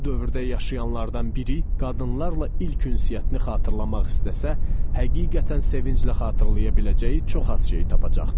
Bu dövrdə yaşayanlardan biri qadınlarla ilk ünsiyyətini xatırlamaq istəsə, həqiqətən sevinclə xatırlaya biləcəyi çox az şey tapacaqdı.